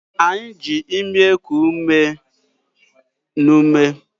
Anyị ji imi eku umena-eku ume